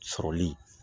Sɔrɔli